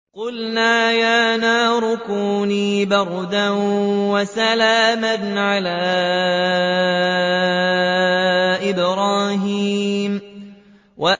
قُلْنَا يَا نَارُ كُونِي بَرْدًا وَسَلَامًا عَلَىٰ إِبْرَاهِيمَ